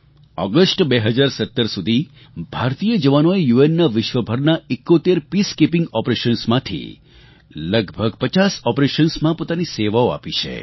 August 2017 સુધી ભારતીય જવાનોએ યુએનનાં વિશ્વભરનાં 71 પીસકીપિંગ ઓપરેશન્સ માંથી લગભગ 50 ઓપરેશન્સ માં પોતાની સેવાઓ આપી છે